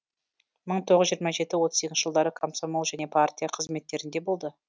мың тоғыз жүз жиырма жеті отыз екінші жылдары комсомол және партия қызметтерінде болды